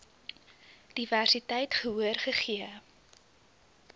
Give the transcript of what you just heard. diversiteit gehoor gegee